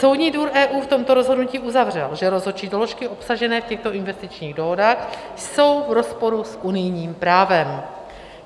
Soudní dvůr EU v tomto rozhodnutí uzavřel, že rozhodčí doložky obsažené v těchto investičních dohodách jsou v rozporu s unijním právem.